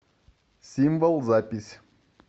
символ запись